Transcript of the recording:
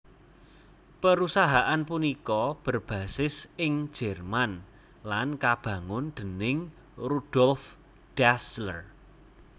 Perusahaan punika berbasis ing Jerman lan kabangun déning Rudolf Dassler